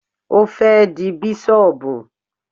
Ó fẹ́ di bísọ̀bù